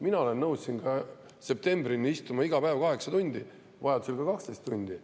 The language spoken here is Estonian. Mina olen nõus istuma siin kas või septembrini iga päev kaheksa tundi, vajaduse korral ka 12 tundi.